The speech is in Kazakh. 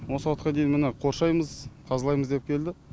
осы уақытқа дейін міні қоршаймыз тазалаймыз деп келді